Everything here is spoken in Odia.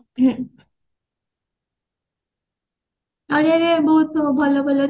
ବହୁତ୍ ଭଲ ଭଲ